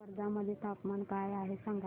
आज वर्धा मध्ये तापमान काय आहे सांगा